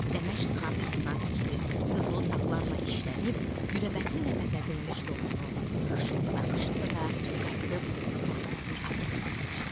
Dəməşq xarısından tikilib, qızıl saplarla işlənib, güləbətinlə bəzədilmiş donunu xışıldada-xışıldada qayıdıb masasının arxasına keçdi.